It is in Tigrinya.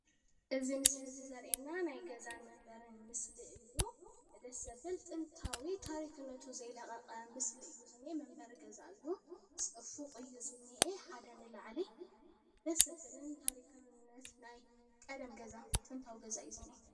እዚ ምስሊ እዚ ዘርእየና ናይ ገዛን መንበርን ምስሊ እዩ፡፡ ደስ ዘብል ጥንታዊ ታሪክነቱ ዘይለቐቐ ምስሊ እዩ ዝኒአ፡፡ መንበሪ ገዛ እዩ፡፡ ፎቅ እዩ ዝኒሄ፡፡ ሓደ ንላዕሊ ደስ ዘብልን ታሪካዊነት ናይ ቀደም ገዛ ጥንታዊ ገዛ እዩ ዝኒአ፡፡